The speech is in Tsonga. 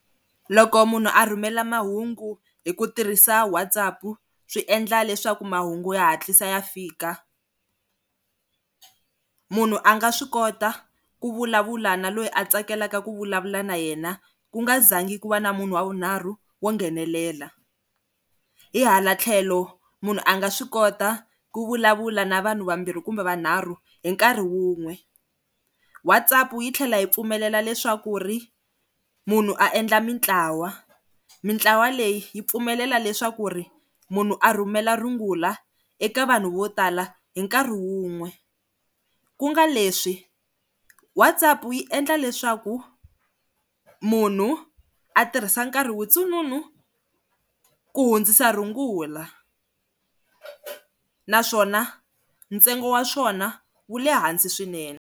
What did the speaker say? Loko munhu a rhumela mahungu hi ku tirhisa WhatsApp swi endla leswaku mahungu ya hatlisa ya fika munhu a nga swi kota ku vulavula na loyi a tsakelaka ku vulavula na yena ku nga zangi ku va na munhu wa vunharhu wo nghenelela, hi hala tlhelo munhu a nga swi kota ku vulavula na vanhu vambirhi kumbe va nharhu hi nkarhi wun'we WhatsApp yi tlhela hi pfumelela leswaku ri munhu a endla mintlawa mintlawa leyi yi pfumelela leswaku ri munhu a rhumela rungula eka vanhu vo tala hi nkarhi wun'we ku nga leswi WhatsApp yi endla leswaku munhu a tirhisa nkarhi wutsongo munhu ku hundzisa rungula naswona ntsengo wa swona wu le hansi swinene.